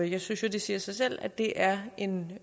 jeg synes jo det siger sig selv at det er en